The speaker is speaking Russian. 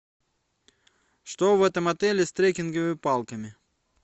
что в этом отеле с трекинговыми палками